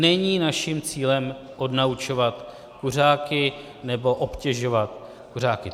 Není naším cílem odnaučovat kuřáky nebo obtěžovat kuřáky.